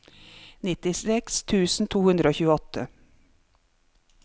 nittiseks tusen to hundre og tjueåtte